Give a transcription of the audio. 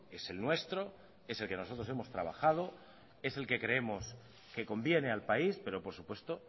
es el nuestro es el que nosotros hemos trabajado es el que creemos que conviene al país pero por supuesto